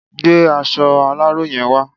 Gbé aṣọ aláró yen wa